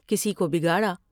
کسی کو بگاڑا ۔